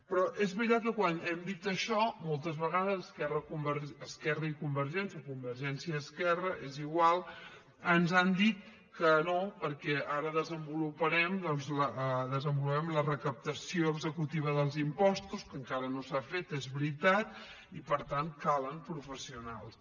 però és veritat que quan hem dit això moltes vegades esquerra i convergència convergència i esquerra és igual ens han dit que no perquè ara desenvoluparem doncs la recaptació executiva dels impostos que encara no s’ha fet és veritat i per tant calen professionals